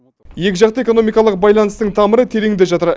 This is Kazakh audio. екіжақты экономикалық байланыстың тамыры тереңде жатыр